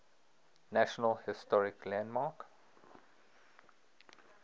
national historic landmark